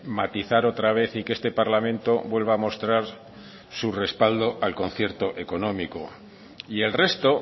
matizar otra vez y que este parlamento vuelva a mostrar su respaldo al concierto económico y el resto